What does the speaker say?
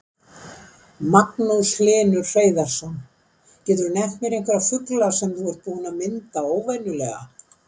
Magnús Hlynur Hreiðarsson: Geturðu nefnt einhverja fugla sem þú ert búinn að mynda óvenjulega?